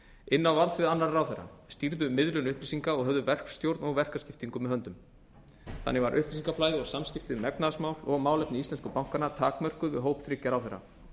inn á valdsvið annarra ráðherra stýrðu miðlun upplýsinga og höfðu verkstjórn og verkaskiptingu með höndum þannig var upplýsingaflæði og samskipti um efnahagsmál og málefni íslensku bankanna takmörkuð við hóp þriggja ráðherra